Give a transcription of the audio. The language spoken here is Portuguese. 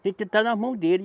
Tem que estar nas mãos dele.